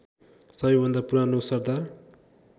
सबैभन्दा पुरानो सरदार